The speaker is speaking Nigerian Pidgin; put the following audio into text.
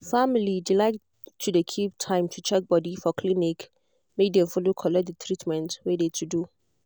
family de like to de keep time to check body for clinic make dem follow collect de treatment wey de to do.